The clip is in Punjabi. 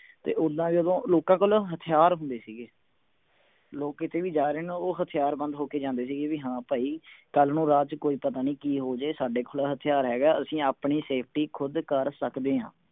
ਤੇ ਓਦਾਂ ਜਦੋਂ ਲੋਕਾਂ ਕੋਲ ਹਥਿਆਰ ਹੁੰਦੇ ਸੀ ਗੇ ਲੋਕ ਕੀਤੇ ਵੀ ਜਾ ਰਹੇ ਉਹ ਹਥਿਆਰਬੰਦ ਹੋ ਕੇ ਜਾਂਦੇ ਸੀ ਗੇ ਵੀ ਹਾਂ ਭਾਈ ਕੱਲ ਨੂੰ ਰਾਹ ਚ ਕੋਈ ਪਤਾ ਨਹੀਂ ਕਿ ਹੋਜੇ ਸਾਡੇ ਕੋਲ ਹਥਿਆਰ ਹੈਗਾ ਅਸੀਂ ਆਪਣੀ safety ਖੁਦ ਕਰ ਸਕਦੇ ਹਾਂ